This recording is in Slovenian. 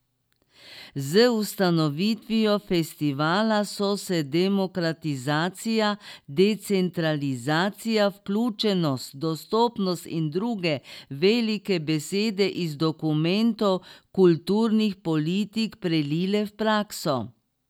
Z ustanovitvijo festivala so se demokratizacija, decentralizacija, vključenost, dostopnost in druge velike besede iz dokumentov kulturnih politik prelile v prakso.